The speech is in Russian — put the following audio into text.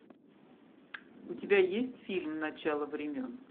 у тебя есть фильм начало времен